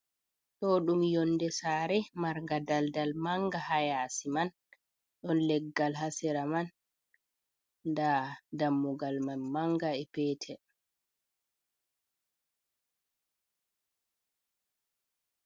Ɗo ɗum yonde sare marga daldal manga hayasi man, ɗon leggal hasera man, nda dammugal man manga e petel.